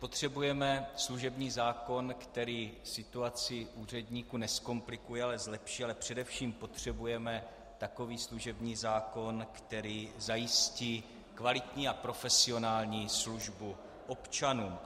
Potřebujeme služební zákon, který situaci úředníkům nezkomplikuje, ale zlepší, a především potřebujeme takový služební zákon, který zajistí kvalitní a profesionální službu občanům.